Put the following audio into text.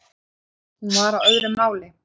Hún var á öðru máli.